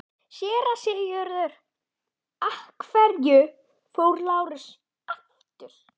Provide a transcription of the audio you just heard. SÉRA SIGURÐUR: Af hverju fór Lárus aftur?